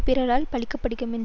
பிறரால் பழிக்கப்படுமென்றது